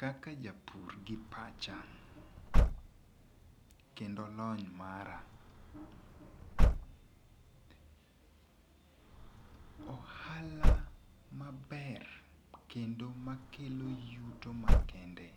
Kaka japur gi pacha kendo lony mara, ohala maber kendo makelo yuto makende